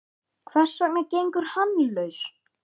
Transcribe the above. Hvers vegna gengur hann laus?